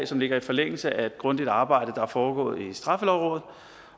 som ligger i forlængelse af et grundigt arbejde der er foregået i straffelovrådet